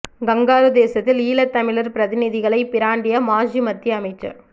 kangaroo தேசத்தில் ஈழத் தமிழர் பிரதிநிதிகளை பிராண்டிய மாஜி மத்திய அமைச்சர்